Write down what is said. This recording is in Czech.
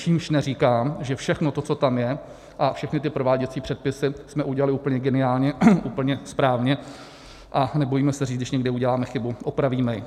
Čímž neříkám, že všechno to, co tam je, a všechny ty prováděcí předpisy jsme udělali úplně geniálně, úplně správně, a nebojíme se říct, když někde uděláme chybu, opravíme ji.